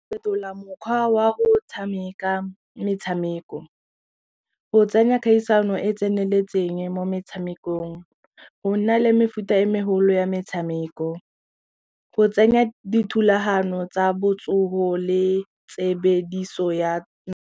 Fetola mokgwa wa go tshameka metshameko, go tsenya kgaisano e tseneletseng mo metshamekong, go nna le mefuta e megolo ya metshameko go tsenya dithulahano tsa botsoho le tshebediso ya.